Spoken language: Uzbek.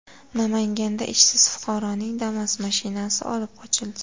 Namanganda ishsiz fuqaroning Damas mashinasi olib qochildi.